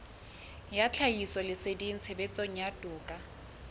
ya tlhahisoleseding tshebetsong ya toka